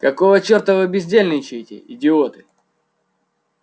какого чёрта вы бездельничаете идиоты